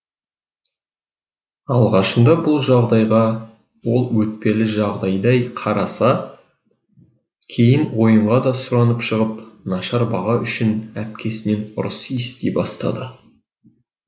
алғашында бұл жағдайға ол өтпелі жағдайдай қараса кейін ойынға да сұранып шығып нашар баға үшін әпкесінен ұрыс ести бастады